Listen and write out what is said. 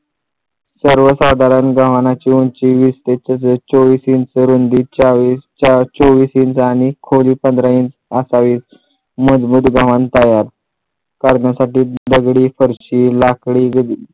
सर्वसाधारण गव्हाणाची उंची वीस ते चोवीस इंच रुंदी चोवीस इंच आणि खोदी पंधरा इंच असं आहे मधोमध गव्हाण तयार करण्यासाठी दगडी फरशी लाकडी